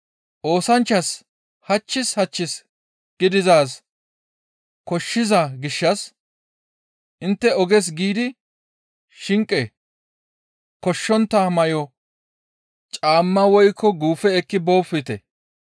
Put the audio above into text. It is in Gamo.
Oosanchchas hachchis hachchis gidizaaz koshshiza gishshas intte oges giidi shinqe, koshshontta may7o, caamma woykko guufe ekki boopite.